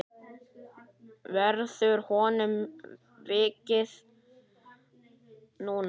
Verður honum vikið núna?